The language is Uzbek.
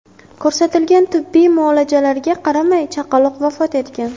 Ko‘rsatilgan tibbiy muolajalarga qaramay chaqaloq vafot etgan.